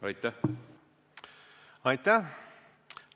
Aitäh!